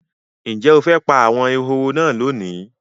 Ǹjẹ́ o fẹ́ pa àwọn ehoro náà lónìí?